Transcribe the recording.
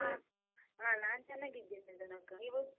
ಹ, ನಾನ್ ಚನ್ನಾಗಿದ್ದೇನೆ ಧನು ಅಕ್ಕ, ನೀವು?